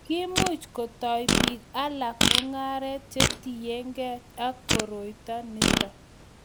kiimuch kutou biik alak mung'arenk che tinyegei ak koroito nito